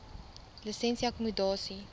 lisensie akkommodasie